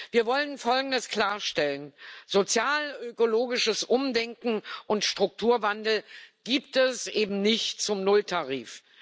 Wir wollen Folgendes klarstellen Sozialökologisches Umdenken und Strukturwandel gibt es eben nicht zum Nulltarif.